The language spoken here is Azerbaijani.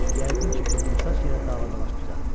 Yəqin ki, qıvrımsaç yenə davadaş düzəldib.